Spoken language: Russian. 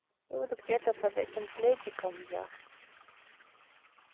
ну буду где-то под этим пледиком я